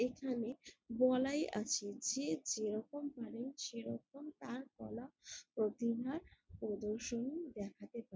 এখানে বলাই আছে যে যেরকম পারেন সেরকম তার কলা প্রতিভা প্রদর্শনী দেখাতে পারেন ।